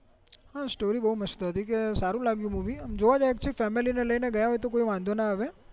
હા સ્ટોરી બૌ મસ્ત હતી કે સારું લાગ્યું movie જોવા તો family ને લઇ ને ગ્યા હોય તો કોઈ વાંધો ના આવે